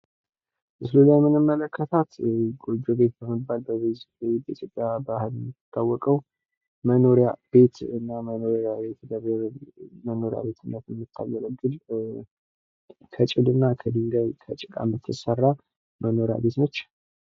ምስሉ ላይ የምንመለከታት ጎጆ ቤት በመባል በኢትዮጵያ ባህል የምትታወቀዉ ፤ መኖሪያ ቤትነት የምታገለግል ከጭድ፣ ከድንጋይ እና ከጭቃ የምትሰራ መኖሪያ ቤት ነች።